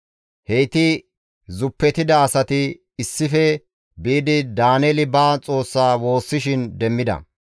Heyti zuppetida asati issife biidi Daaneeli ba Xoossa woossishin demmida.